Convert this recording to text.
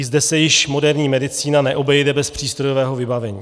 I zde se již moderní medicína neobejde bez přístrojového vybavení.